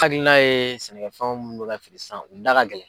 hakilina ye sɛnɛkɛfɛnw mun bɛ ka feere sisan u da ka gɛlɛn.